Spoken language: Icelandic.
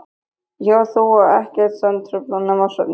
Ég og þú og ekkert sem truflar nema svefninn.